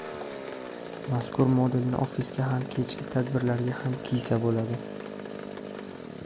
Mazkur modelni ofisga ham kechki tadbirlarga ham kiysa bo‘ladi.